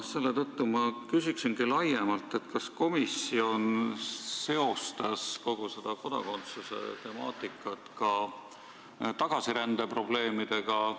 Selle tõttu ma küsingi laiemalt, kas komisjon seostas kogu seda kodakondsuse temaatikat ka tagasirände probleemidega.